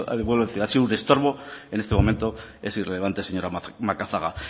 lo vuelvo a decir ha sido un estorbo en este momento es irrelevante señora macazaga